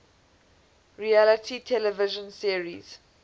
reality television series